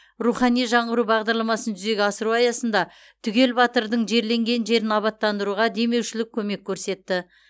рухани жаңғыру бағдарламасын жүзеге асыру аясында түгел батырдың жерленген жерін абаттандыруға демеушілік көмек көрсетті